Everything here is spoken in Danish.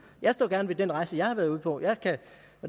jeg står gerne ved den rejse jeg har været ude på